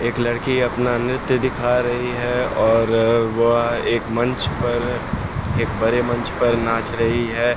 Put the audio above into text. एक लड़की अपना नृत्य दिखा रही है और वह एक मंच पर एक बड़े मंच पर नाच रही है।